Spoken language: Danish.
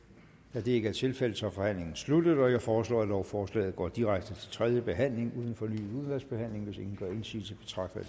da det ikke er tilfældet er forhandlingen sluttet jeg foreslår at lovforslaget går direkte til tredje behandling uden fornyet udvalgsbehandling hvis ingen gør indsigelse